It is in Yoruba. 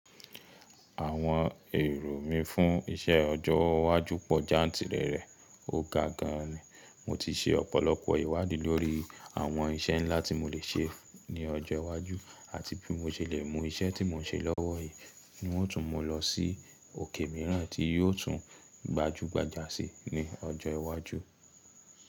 Àwọn èrò mí fún iṣẹ́ ọjọ́ iwájú pọ̀ jáǹtìrẹrẹ, ó ga gan ni. Mo ti ṣe ọ̀pọ̀lọpọ̀ ìwádìí lórí àwọn iṣẹ́ ńlá tí mo le ṣe ní ọjọ́ iwájú àti bí mo ṣe le mú iṣẹ́ tí mò ń ṣe lọ́wọ́ yìí ni ó tún mo lọ sí òkè mìíràn tí yóò tún gbajúgbajà sí ní ọjọ́ iwájú.